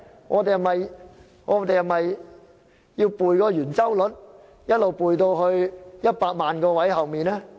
我們是否要背讀圓周率至小數點後100萬個位呢？